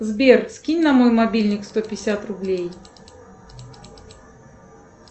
сбер скинь на мой мобильник сто пятьдесят рублей